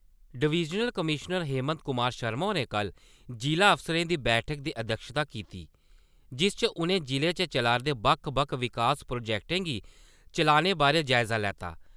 Divisional commissioner Hemant Kumar Sharma होरें कल जिला अफसरें दी बैठके दी अध्यक्षता किती। जिस च उ`नें जिले च चलारदे बक्ख-बक्ख विकास प्रोजेक्टें गी चलाने बारे जायजा लैता।